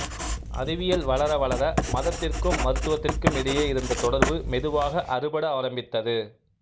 அறிவியல் வளர வளர மதத்திற்கும் மருத்துவத்திற்கும் இடையே இருந்த தொடர்பு மெதுவாக அறுபட ஆரம்பித்தது